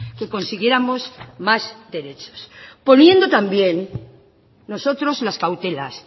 que consiguiéramos más derechos poniendo también nosotros las cautelas